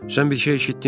Sən bir şey eşitdin?